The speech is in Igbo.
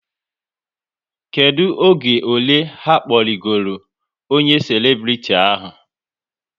Kedụ oge ole ha kpọrigoro onye selebriti ahụ?